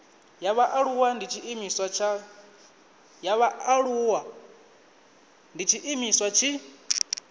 ya vhaaluwa ndi tshiimiswa tshi